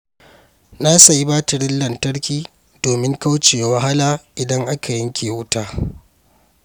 Na sayi batirin lantarki domin kauce wa wahala idan aka yanke wuta.